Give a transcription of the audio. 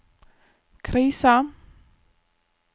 krisa